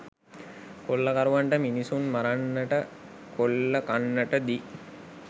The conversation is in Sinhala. කොල්ලකරුවන්ට මිනිසුන් මරන්නට කොල්ලකන්නට දී